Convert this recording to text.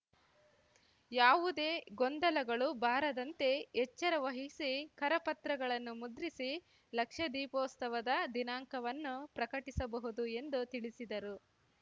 ಯಾವುದೇ ಗೊಂದಲಗಳು ಬಾರದಂತೆ ಎಚ್ಚರವಹಿಸಿ ಕರಪತ್ರಗಳನ್ನು ಮುದ್ರಿಸಿ ಲಕ್ಷದೀಪೋಸ್ತವದ ದಿನಾಂಕವನ್ನು ಪ್ರಕಟಿಸಬಹುದು ಎಂದು ತಿಳಿಸಿದರು